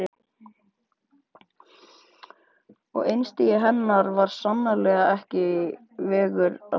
Og einstigi hennar var sannarlega ekki vegur allra.